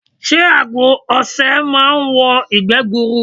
Sé àgbo osè máa n wo ìgbé gburu